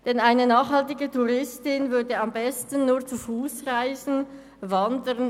Denn eine nachhaltige Touristin würde am besten nur zu Fuss reisen, das heisst wandern.